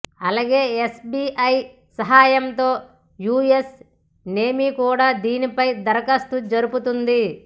అలాగే ఎఫ్బిఐ సహాయంతో US navy కూడా దీనిపై దర్యాప్తు జరుపుతోంది